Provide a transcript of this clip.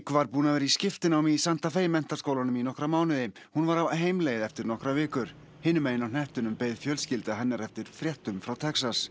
var búin að vera í skiptinámi í Santa menntaskólanum í nokkra mánuði hún var á heimleið eftir nokkrar vikur hinum megin á hnettinum beið fjölskylda hennar eftir fréttum frá Texas